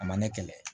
A ma ne kɛlɛ